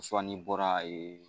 n'i bɔra e